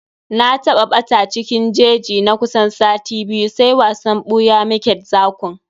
Na ɓata a cikin jeji na kusan sati biyu, sai wasan ɓuya mu ke d zakun.